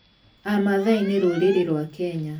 Amathai nĩ rũrĩrĩ rwa Kenya.